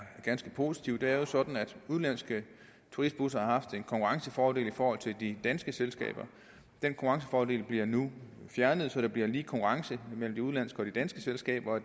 ganske positivt det er jo sådan at udenlandske turistbusser har haft en konkurrencefordel i forhold til de danske selskaber den konkurrencefordel bliver nu fjernet så der bliver lige konkurrence mellem de udenlandske og de danske selskaber